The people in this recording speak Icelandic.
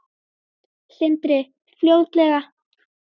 Sindri: Fljótlega?